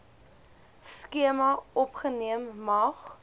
skema opgeneem mag